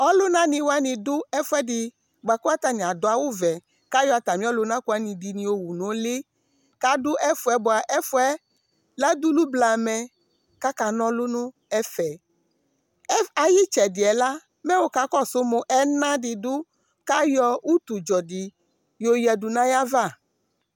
ɔluna ni wani do ɛfu ɛdi boa kò atani adu awu vɛ k'ayɔ atami ɔluna kò wani ɛdi yo wu no uli k'adu ɛfu yɛ boa ɛfu yɛ la dulu blamɛ k'aka n'ɔlu n'ɛfɛ ayi itsɛdi yɛ la mɛ wo ka kɔsu moa ɛna di do k'ayɔ utu dzɔ di yo oya du n'ayi ava